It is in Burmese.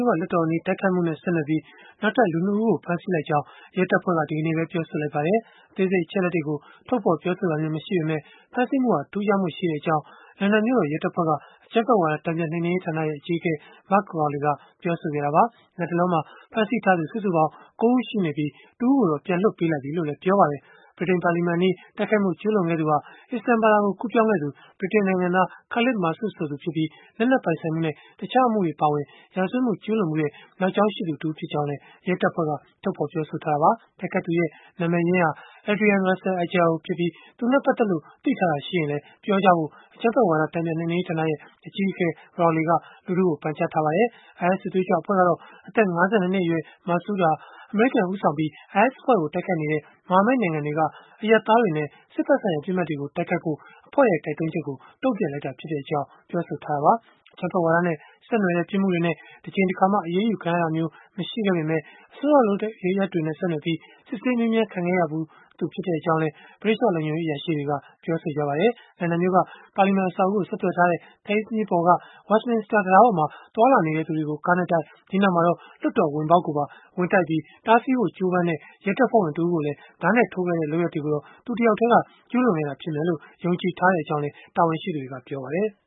ို့က လွှတ်တော်အနီး တိုက်ခိုက်မှုနဲ့ ဆက်နွယ်ပြီး နောက်ထပ် လူ ၂ ဦးကို ဖမ်းဆီးလိုက်ကြောင်း ရဲတပ်ဖွဲ့က ဒီကနေ့ပဲ ပြောဆိုလိုက်ပါတယ်။ အသေးစိတ် အချက်အလက်တွေကို ထုတ်ဖော်ပြောဆိုတာမျိုး မရှိပေမဲ့၊ ဖမ်းဆီးမှုဟာ ထူးခြားမှုရှိတဲ့အကြောင်း လန်ဒန်မြို့တော်ရဲတပ်ဖွဲ့က အကြမ်းဖက်ဝါဒ တန်ပြန်နှိမ်နင်းရေးဌာန အကြီးအကဲ Mark Rowley ကပြောဆိုခဲ့တာပါ။ လတ်တလော ဖမ်းဆီးထားသူ စုစုပေါင်း ၉ ဦး ရှိနေပြီး၊ တဦးကိုတော့ ပြန်လွှတ်ပေးလိုက်ပြီလို့လည်း ပြောပါတယ်။ ဗြိတိန်ပါလီမန်အနီး တိုက်ခိုက်မှု ကျုးလွန်ခဲ့သူဟာ အစ္စလာမ်ဘာသာကို ကူးပြောင်းခဲ့သူ ဗြိတိန်နိုင်ငံသား Khalid Masood ဆိုသူဖြစ်ပြီး၊ လက်နက်ပိုင်ဆိုင်မှုနဲ့ တခြားအမှုတွေ အပါအဝင် ရာဇဝတ်မှု ကျုးလွန်ဖူးတဲ့ နောက်ကြောင်းရှိသူ တဦးဖြစ်ကြောင်းလည်း ရဲတပ်ဖွဲ့က ထုတ်ဖော်ပြောဆိုထားတာပါ။ တိုက်ခိုက်သူရဲ့ နာမည်ရင်းဟာ Adrian Russell Ajao ဖြစ်ပြီး၊ သူနဲ့ပတ်သက်လို့ သိထားတာရှိရင်လည်း ပြောကြဖို့ အကြမ်းဖက်ဝါဒ တန်ပြန်နှိမ်နင်းရေးဌာန အကြီးအကဲ Rowley က လူထုကို ပန်ကြားထားပါတယ်။ IS စစ်သွေးကြွအဖွဲ့ကတော့ အသက် ၅၂ နှစ်အရွယ် Masood ဟာ၊ အမေရိကန် ဦးဆောင်ပြီး IS အဖွဲ့ကို တိုက်ခိုက်နေတဲ့ မဟာမိတ် နိုင်ငံတွေက အရပ်သားတွေနဲ့ စစ်ဖက်ဆိုင်ရာ ပစ်မှတ်တွေကို တိုက်ခိုက်ဖို့ အဖွဲ့ရဲ့ တိုက်တွန်းချက်ကို တုန့်ပြန်လိုက်တာဖြစ်ကြောင်း ပြောဆိုခဲ့တာပါ။ အကြမ်းဖက်ဝါဒနဲ့ ဆက်နွယ်တဲ့ ပြစ်မှုတွေနဲ့ တကြိမ်တခါမှ အရေးယူ ခံရဖူးတာမျိုး မရှိခဲ့ပေမဲ့၊ အစွန်းရောက်လုပ်ရပ်တွေနဲ့ ဆက်နွယ်ပြီး စစ်ဆေးမေးမြန်းခံခဲ့ရဖူးသူ ဖြစ်ကြောင်းလည်း ဗြိတိသျှလုံခြုံရေး အရာရှိတွေက ပြောပါတယ်။ လန်ဒန်မြို့က ပါလီမန်အဆောက်အဦးကို ဆက်သွယ်ထားတဲ့ Thames မြစ်ပေါ်က Westminster တံတားပေါ်မှာ သွားလာနေတဲ့လူတွေကို ကားနဲ့တိုက်၊ ဒီနောက်မှာတော့ လွှတ်တော်ဝင်ပေါက်ကိုပါ ဝင်တိုက်ပြီး၊ တားဆီးဖို့ ကြိုးစားတဲ့ ရဲတပ်ဖွဲ့ဝင်တဦးကို ဓားနဲ့ထိုးခဲ့တဲ့ လုပ်ရပ်တွေကိုတော့ သူတဦးတည်း ကျုးလွန်ခဲ့တာဖြစ်မယ်လို့ ယုံကြည်ထားကြောင်းလည်း တာဝန်ရှိသူတွေကပြောပါတယ်။